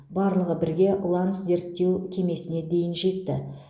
барлығы бірге ланс зерттеу кемесіне дейін жетті